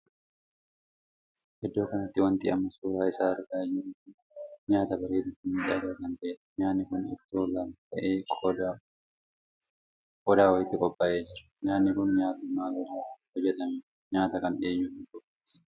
Iddoo kanatti wanti amma suuraa isaa argaa jirru kun nyaata bareedaa fi miidhagaa kan tahedha. nyaanni kun ittoo lama tahe qodaa wayiitti qophaa'ee jira. nyaanni kun nyaata maali irra kan hojjetameedha. nyaata kana eenyutu qopheesse?